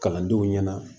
Kalandenw ɲɛna